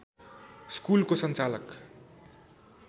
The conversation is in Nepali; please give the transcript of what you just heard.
स्कुलको सञ्चालक